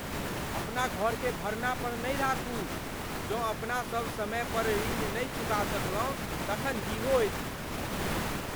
अपना घरकेँ भरना पर नहि राखू। जँ अपना सब समय पर ऋण नहि चुका सकलहुँ तखन की होयत?